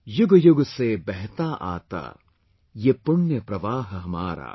YUG YUG SE BEHTA AATA, YEH PUNYA PARWAAH HAMARA